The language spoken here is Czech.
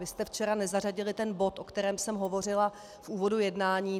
Vy jste včera nezařadili ten bod, o kterém jsem hovořila v úvodu jednání.